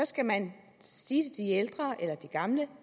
skal man sige til de ældre eller de gamle at